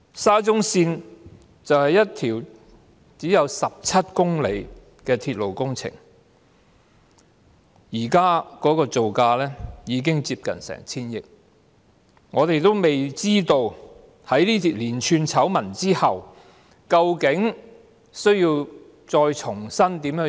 沙中線是一條只有17公里長的鐵路工程，現時的造價已經接近 1,000 億元，而我們尚未知道在出現連串醜聞後究竟須如何重新處理。